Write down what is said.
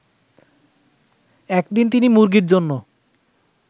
একদিন তিনি মুরগির জন্য